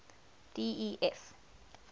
d e f